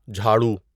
جھاڑو